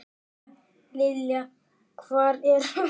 María Lilja: Hvar er verst?